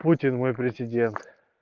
путин мой президент